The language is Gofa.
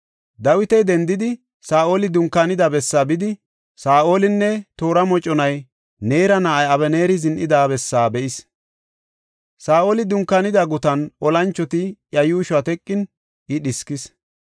Dawiti dendidi, Saa7oli dunkaanida bessaa bidi Saa7olinne toora moconay Neera na7ay Abeneeri zin7ida bessa be7is. Saa7oli dunkaanida gutan olanchoti iya yuushuwa teqin I dhiskis.